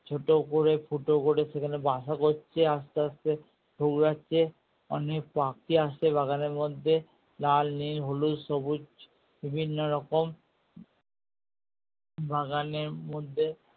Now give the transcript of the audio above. ছোটো করে ফুটো করে সেখানে বাসা করছে আস্তে আস্তে ঠোকরাছে অনেক পাখি আসে বাগানের মধ্যে লাল নীল হলুদ সবুজ বিভিন্ন রকম বাগানের মধ্যে